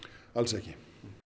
alls ekki